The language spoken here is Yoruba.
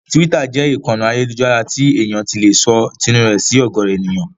Tíwítà jẹ́ ìkànnì ayélujára tí èèyàn ti lè sọ tinú rẹ̀ sí ọ̀gọ̀ọ̀rọ̀ èèyàn.